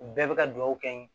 U bɛɛ bɛ ka duwawu kɛ